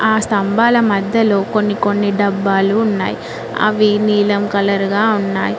ఆ స్తంభాల మధ్యలో కొన్ని కొన్ని డబ్బాలు ఉన్నాయ్ అవి నీలం కలర్ గా ఉన్నాయ్.